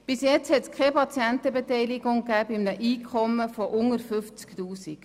Bisher gab es bei einem Einkommen von unter 50 000 Franken keine Patientenbeteiligung.